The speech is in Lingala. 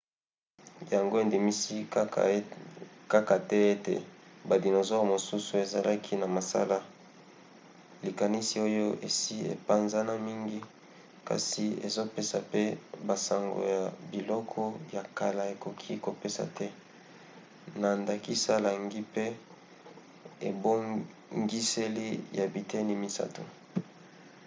yango endimisi kaka te ete badinosaure mosusu ezalaki na masala likanisi oyo esi epanzana mingi kasi ezopesa pe basango ya biloko ya kala ekoki kopesa te na ndakisa langi pe ebongiseli ya biteni misato